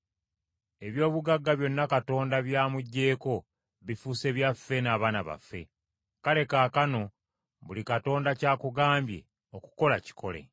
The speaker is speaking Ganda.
Eby’obugagga byonna Katonda bya muggyeko, bifuuse byaffe n’abaana baffe. Kale kaakano buli Katonda ky’akugambye okukola kikole.”